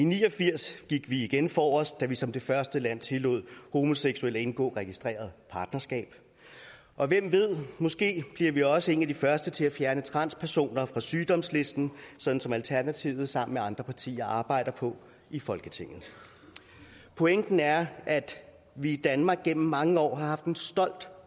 ni og firs gik vi igen forrest da vi som det første land tillod homoseksuelle at indgå registreret partnerskab og hvem ved måske bliver vi også et af de første til at fjerne transpersoner fra sygdomslisten sådan som alternativet sammen med andre partier arbejder på i folketinget pointen er at vi i danmark gennem mange år har haft en stolt